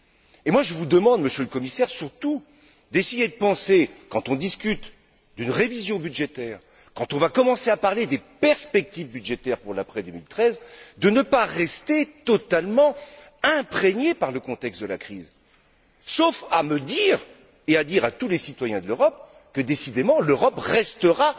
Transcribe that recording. Et moi, je vous demande, Monsieur le Commissaire, d'essayer surtout, quand on discute d'une révision budgétaire, quand on va commencer à parler des perspectives budgétaires pour l'après 2013, de ne pas rester totalement imprégné par le contexte de la crise, sauf s'il s'agit de me dire et de dire à tous les citoyens de l'Europe que, décidément, l'Europe restera